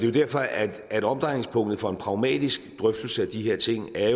jo derfor at omdrejningspunktet for en pragmatisk drøftelse af de her ting er